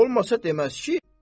Olmasa deməz ki.